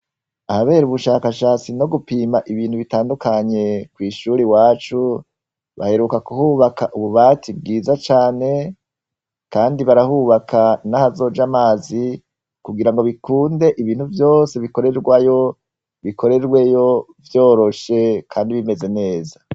Ahaber'ubushakashatsi no gupima ibintu bitandukanye kw'ishure iwacu, baheruka kuhuba ububati bwiza cane, kandi barubaka nahazoja mazi kugirango bikunde ibikorwa vyose bikunde ibintu vyise bikorerwayo ,bikorweyo vyoroshe kandi bimez neza.